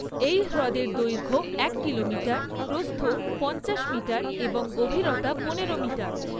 এই হ্রদের দৈর্ঘ্য এক কিলোমিটার, প্রস্থ পঞ্চাশ মিটার এবং গভীরতা পনেরো মিটার।